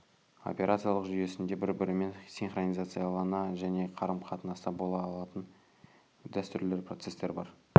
операциялық жүйесінде бір-бірімен синхронизациялана және қарым-қатынаста бола алатын дәстүрлі процестер бар